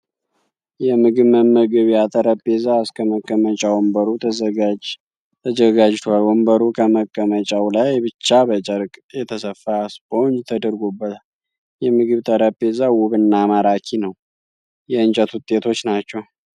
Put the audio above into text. የምግብ መመገቢያ ጠረጴዛ እስከ መቀመጫ ወንበሩ ተዘጋጀሸቷል። ወንበሩ ከመቀመጫዉ ላይ ብቻ በጨርቅ የተሰፋ ስፖንጅ ተደርጎበታል። የምግብ ጠረጴዛዉ ዉብ እና ማራኪ ነዉ። የእንጨት ዉጤቶች ናቸዉ።